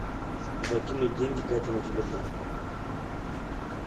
закинуть деньги кате на телефон